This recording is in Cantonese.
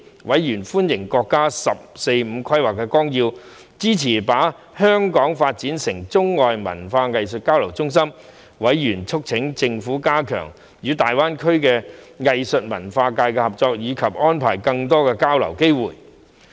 委員歡迎國家《十四五規劃綱要》支持把香港發展成中外文化藝術交流中心，並促請政府加強與大灣區的藝術文化界合作，以及安排更多交流的機會。